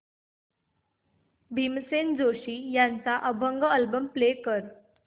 भीमसेन जोशी यांचा अभंग album play कर